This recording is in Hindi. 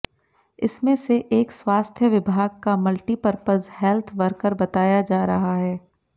इसमें से एक स्वास्थ्य विभाग का मल्टीपरपज हेल्थ वर्कर बताया जा रहा है